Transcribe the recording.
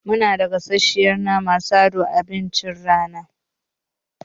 Munada gasasshen naman sa don abincin rana.